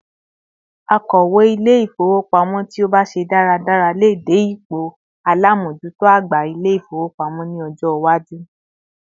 Akowe Ilé-ifowopamo ti o ba se daradara lè dé ipò alamojuto àgbà Ilé-ifowopamo ni ọjọ iwaju